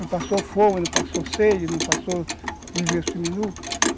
Não passou fome, não passou sede, não passou viver suminu.